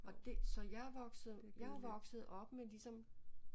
Og det så jeg vokset jeg er vokset op med ligesom